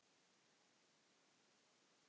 Þannig var þetta þá.